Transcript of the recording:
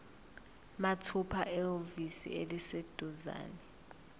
mathupha ehhovisi eliseduzane